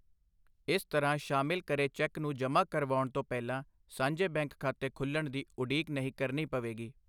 ਇਸ ਤਰ੍ਹਾਂ ਸ਼ਾਮਿਲ ਕਰੇ ਚੈੱਕ ਨੂੰ ਜਮਾਂ ਕਰਵਾਉਣ ਤੋਂ ਪਹਿਲਾ ਸਾਂਝੇ ਬੈਂਕ ਖਾਤੇ ਖੁੱਲ੍ਹਣ ਦੀ ਉਡੀਕ ਨਹੀਂ ਕਰਨੀ ਪਵੇਗੀ।